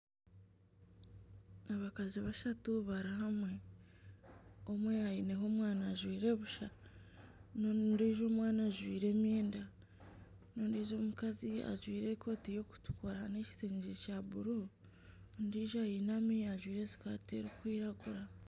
Abakazi bashatu bari hamwe omwe aineho omwana ajwaire busha n'ondijo omwana ajwaire emyenda n'ondijo mukazi ajwaire ekooti y'okutukura n'ekitengye kya buru ondijo ainami ajwaire sikati erikwiragura.